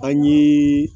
An ye